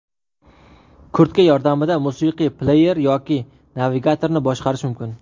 Kurtka yordamida musiqiy pleyer yoki navigatorni boshqarish mumkin.